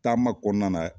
Taama kɔnɔna na